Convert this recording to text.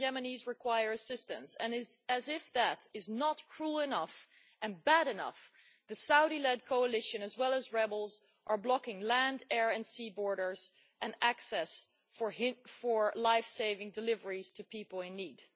million Yemenis who require assistance and, as if that is not cruel enough and bad enough, the Saudi led coalition, as well as rebels, are blocking land, air and sea borders and access for lifesaving deliveries to people in need.